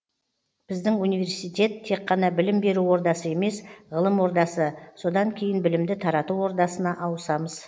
біздің университет тек қана білім беру ордасы емес ғылым ордасы содан кейін білімді тарату ордасына ауысамыз